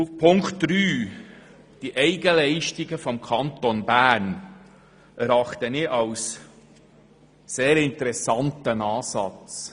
Die Auflage 3 zu den Eigenleistungen des Kantons Bern erachte ich als sehr interessanten Ansatz.